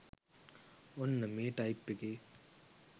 ඔන්න මේ ටයිප් එකේ